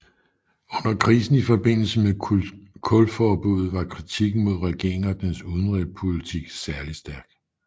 Under krisen i forbindelse med kulforbuddet var kritikken mod regeringen og dens udenrigspolitik særlig stærk